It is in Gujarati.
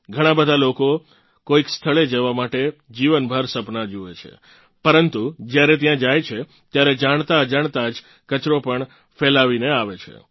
ઘણાં બધાં લોકો કોઇક સ્થળે જવા માટે જીવનભર સપનાં જુએ છે પરંતુ જ્યારે ત્યાં જાય છે ત્યારે જાણતાઅજાણતાં જ કચરો પણ ફેલાવીને આવે છે